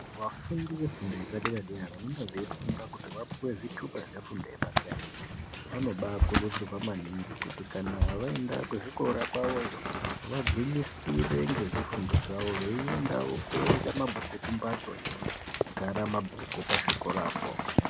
Vafundi vefundo yepadera-dera vanonge veifunda kuti vapuwe zvithupa zvefundo yepadera-dera, vanobaakurudzirwa maningi kuyibkana vaenda muzvikora kwavoyo, vanginyisire ngezvifundo zvavo, veiendawo kooerenga mabhuku, kumbatso inogara mabhuku pazvikorapo.